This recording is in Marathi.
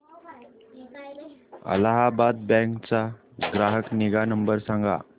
अलाहाबाद बँक चा ग्राहक निगा नंबर सांगा